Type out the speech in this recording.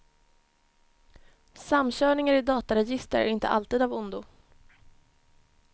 Samkörningar i dataregister är inte alltid av ondo.